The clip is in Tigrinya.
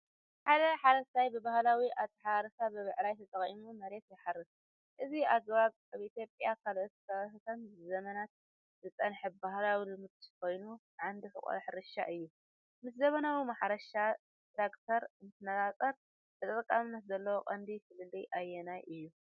ሓደ ሓረስታይ ብባህላዊ ኣታሓራርሳ ብብዕራይ ተጠቒሙ መሬት ይሓርስ። እዚ ኣገባብ ኣብ ኢትዮጵያን ካልኦት ከባቢታትን ንዘመናት ዝጸንሐ ባህላዊ ልምዲ ኮይኑ ዓንዲ ሕቖ ሕርሻ እዩ። ምስ ዘመናዊ ማሕረሻ ትራክተር እንትነፃፀር ተጠቃምነት ዘለዎ ቀንዲ ፍልልይ ኣየናይ እዩ?